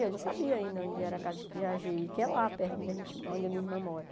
Eu não sabia ainda onde era a casa de Piaget, que é lá perto onde a gen onde a minha irmã mora.